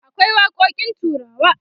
akwai waƙoƙin turawa